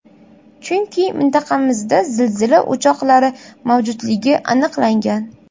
Chunki mintaqamizda zilzila o‘choqlari mavjudligi aniqlangan.